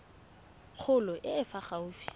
kgolo e e fa gaufi